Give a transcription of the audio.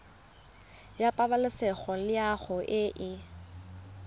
ya pabalesego loago e e